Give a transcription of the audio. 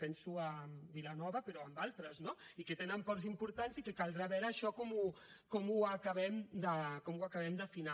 penso en vilanova però en d’altres no i que tenen ports importants i que caldrà veure això com ho acabem d’afinar